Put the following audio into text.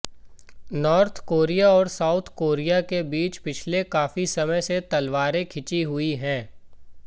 north Korea और South Korea के बीच पिछले काफी समय से तलवारें खिंची हुईं है